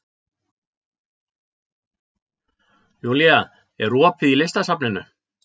Julia, er opið í Listasafninu?